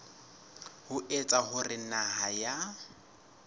ho etsa hore naha ya